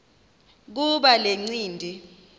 kuba le ncindi